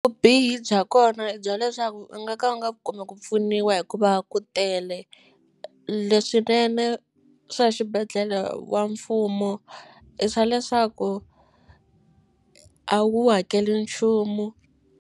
Vubihi bya kona i bya leswaku u nga ka u nga kumi ku pfuniwa hikuva ku tele leswinene swa xibedhlele wa mfumo i swa leswaku a wu hakeli nchumu.